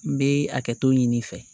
N bɛ hakɛto ɲini i fɛ